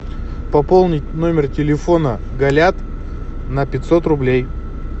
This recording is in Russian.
пополнить номер телефона галят на пятьсот рублей